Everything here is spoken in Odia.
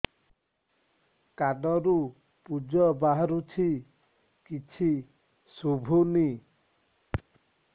କାନରୁ ପୂଜ ବାହାରୁଛି କିଛି ଶୁଭୁନି